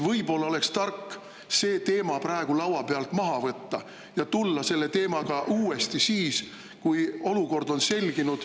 Võib-olla oleks tark see teema praegu laua pealt maha võtta ja tulla sellega välja uuesti siis, kui olukord on selginenud ...